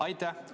Aitäh!